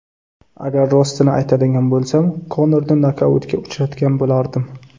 Agar rostini aytadigan bo‘lsam, Konorni nokautga uchratgan bo‘lardim.